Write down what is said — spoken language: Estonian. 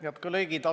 Head kolleegid!